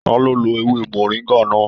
Ta lo lọ ewé moringa náà?